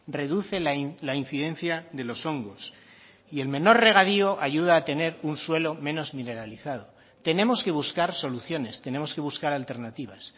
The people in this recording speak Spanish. reduce la incidencia de los hongos y el menor regadío ayuda a tener un suelo menos mineralizado tenemos que buscar soluciones tenemos que buscar alternativas